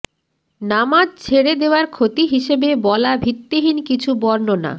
নামাজ ছেড়ে দেওয়ার ক্ষতি হিসেবে বলা ভিত্তিহীন কিছু বর্ণনা